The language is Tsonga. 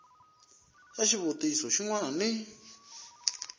ya xivutiso xin wana ni